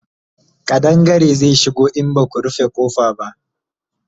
ƙadangare zai shigo in Baku rufe ƙofa ba